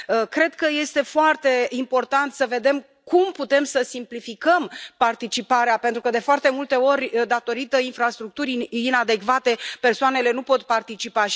Cred că este foarte important să vedem cum putem să simplificăm participarea pentru că, de foarte multe ori, din cauza infrastructurii inadecvate, persoanele nu pot participa.